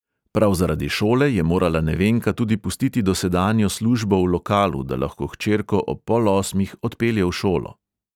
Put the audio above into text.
Prav zaradi šole je morala nevenka tudi pustiti dosedanjo službo v lokalu, da lahko hčerko ob pol osmih odpelje v šolo.